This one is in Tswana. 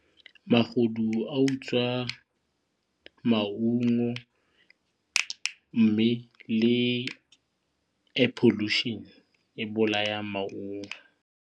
Magodu a utswa maungo mme le air pollution e bolayang maungo.